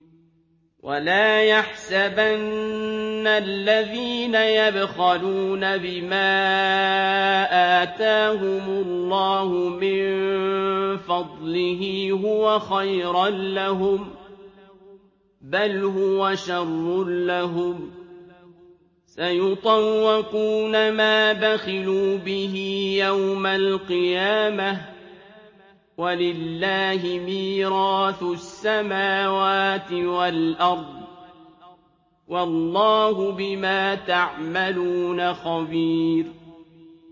وَلَا يَحْسَبَنَّ الَّذِينَ يَبْخَلُونَ بِمَا آتَاهُمُ اللَّهُ مِن فَضْلِهِ هُوَ خَيْرًا لَّهُم ۖ بَلْ هُوَ شَرٌّ لَّهُمْ ۖ سَيُطَوَّقُونَ مَا بَخِلُوا بِهِ يَوْمَ الْقِيَامَةِ ۗ وَلِلَّهِ مِيرَاثُ السَّمَاوَاتِ وَالْأَرْضِ ۗ وَاللَّهُ بِمَا تَعْمَلُونَ خَبِيرٌ